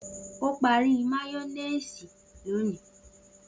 O pari máyọ́méèsì loni.